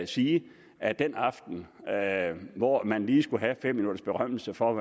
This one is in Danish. sige at den aften hvor man lige skulle have fem minutters berømmelse for at